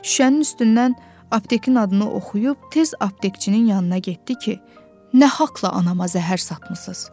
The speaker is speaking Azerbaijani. Şüşənin üstündən aptekin adını oxuyub tez aptekçinin yanına getdi ki, nə haqla anama zəhər satmısız?